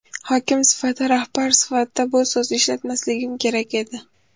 Hokim sifatida, rahbar sifatida bu so‘zni ishlatmasligim kerak edi.